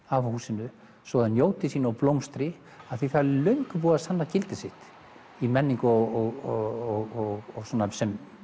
af húsinu svo það njóti sín og blómstri af því það er löngu búið að sanna gildi sitt í menningu og sem